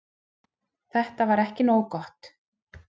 Þetta var ekki nógu gott.